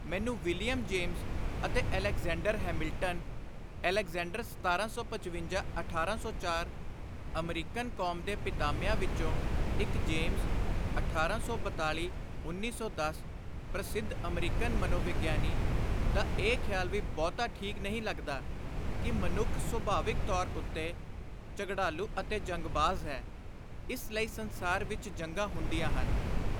ਮੈਨੂੰ William James ਅਤੇ Alexander Hamilton' (Alexander (American ਕੌਮ ਦੇ ਪਿਤਾਮਿਆਂ ਵਿਚੋਂ ਇਕ ਜੇਮਜ਼ (1842—1910)-ਪ੍ਰਸਿੱਧ ਅਮਰੀਕਨ ਮਨੋਵਿਗਿਆਨੀ ) ਦਾ ਇਹ ਖ਼ਿਆਲ ਵੀ ਬਹੁਤਾ ਠੀਕ ਨਹੀਂ ਲੱਗਦਾ ਕਿ ਮਨੁੱਖ ਸੁਭਾਵਕ ਤੌਰ ਉੱਤੇ ਝਗੜਾਲੁ ਅਤੇ ਜੰਗਬਾਜ਼ ਹੈ, ਇਸ ਲਈ ਸੰਸਾਰ ਵਿਚ ਜੰਗਾਂ ਹੁੰਦੀਆਂ ਹਨ।